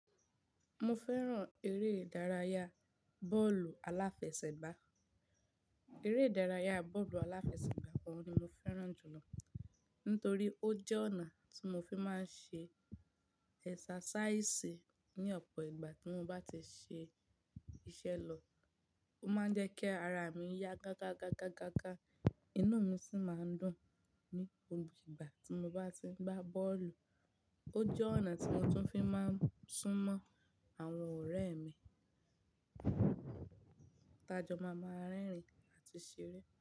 Mo fẹ́ràn eré ìdárayá bọ́ọ̀lù aláfẹsẹ̀gbá. Eré ìdárayá bọ́ọ̀lù aláfẹsẹ̀gbá pọ ni mo fẹ́ràn jùlọ nítorí ó jẹ́ ọ̀nà tí mo fi máa ń ṣe ẹ̀sàsáísì ní ọ̀pọ̀ ìgbà tí mo bá ti ṣe iṣẹ́ lọ. Ó máa ń jẹ́ kí ara mi yá gá gá gá gá gá. Inú mi sì máa ń dùn ní gbogbo ìgbà tí mo bá ti ń gbá bọ́ọ̀lù. Ó jẹ́ ọ̀nà tí mo tún fi máa ń sún mọ́ àwọn ọ̀rẹ́ mi. Tajọ́ máa ma rẹ́rìn-ín àti ṣeré.